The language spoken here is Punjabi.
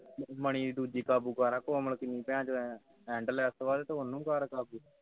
ਮੰਣੀ ਦੀ ਦੂਜੀ ਕਾਬੂ ਕਰ ਕੋਮਲ ਉਹ ਕਿੰਨੀ ਭੈਣ ਚੋ ਹੈਂ ਕਿੰਨੀ endless ਹੈ ਤੇ ਤੂੰ ਉਸ ਨੂੰ ਕਰ ਕਾਬੂ